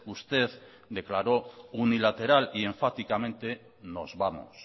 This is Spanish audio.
usted declaró unilateral y enfáticamente nos vamos